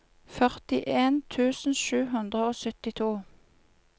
førtien tusen sju hundre og syttito